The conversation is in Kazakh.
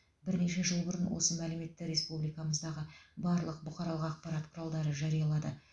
бірнеше жыл бұрын осы мәліметті республикамыздағы барлық бұқаралық ақпарат құралдары жариялады